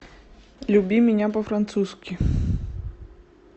люби меня по французски